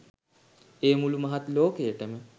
එය මුළු මහත් ලෝකයටම